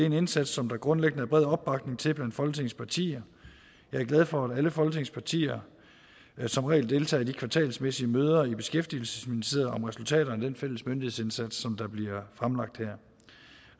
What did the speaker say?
en indsats som der grundlæggende er bred opbakning til blandt folketingets partier jeg er glad for at alle folketingets partier som regel deltager i de kvartalsvise møder i beskæftigelsesministeriet om resultaterne af den fælles myndighedsindsats som bliver fremlagt her